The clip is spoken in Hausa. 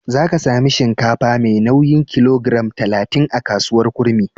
Za ka sami shinkafa mai nauyin kilogiram talatin a kasuwar Kurmi.